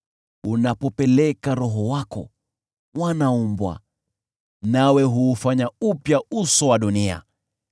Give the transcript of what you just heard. Unapopeleka Roho wako, wanaumbwa, nawe huufanya upya uso wa dunia.